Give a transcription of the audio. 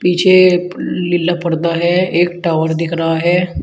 पीछे लीला पर्दा है एक टावर दिख रहा है।